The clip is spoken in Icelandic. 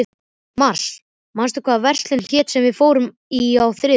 Mars, manstu hvað verslunin hét sem við fórum í á þriðjudaginn?